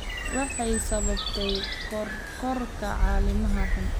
Waxay sababtaa kororka caleemaha xun.